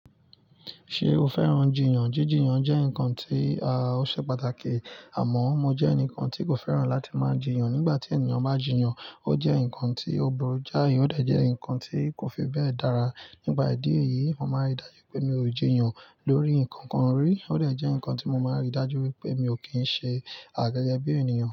Ṣé o fẹ́ràn jiyàn? Jíjiyàn jẹ́ ǹkan tí a ò ṣe pàtàkì. Àmọ́, mo jẹ́ ẹnìkan tí kò fẹ́ràn láti máa jìyàn. Nígbà tí ènìyàn bá jìyàn, ó jẹ́ ǹkan tí ó burú jáì, ó dẹ̀ jẹ́ ǹkan tí kò fi bẹ́ẹ̀ dára. Nígbà ìdí èyí, mo máa rí dájú pé mi ò jìyàn lórí ǹkan kan rí ó dẹ̀ jẹ́ ǹkan tí mo máa rí dájú wípé mi ò kín ṣe a gẹgẹ bí ènìyàn.